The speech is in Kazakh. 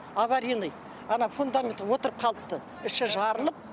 аваринный ана фундамент отырып қалыпты іші жарылып